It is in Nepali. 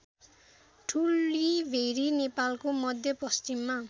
ठुलीभेरी नेपालको मध्यपश्चिममा